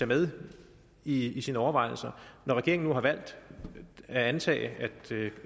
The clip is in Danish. med i sine overvejelser når regeringen nu har valgt at antage